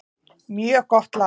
Mjög gott lag.